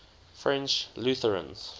french lutherans